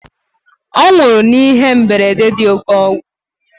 Ọ nwụrụ n'ihe mberede dị oke égwu